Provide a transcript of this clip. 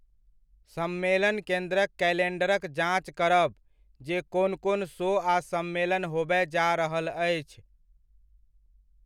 सम्मेलन केन्द्रक कैलेंडरक जाँच करब जे कोन कोन शो आ सम्मेलन होबय जा रहल अछि।